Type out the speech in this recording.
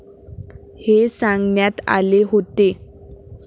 हे सांगण्यात आले होते.